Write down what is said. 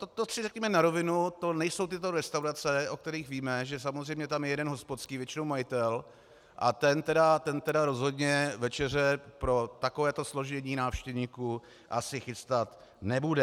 To si řekněme na rovinu, to nejsou tyto restaurace, o kterých víme, že samozřejmě tam je jeden hospodský, většinou majitel, a ten tedy rozhodně večeře pro takovéto složení návštěvníků asi chystat nebude.